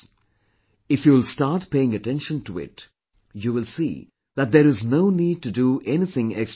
If you'll start paying attention to it, you will see that there is no need to do anything extraordinary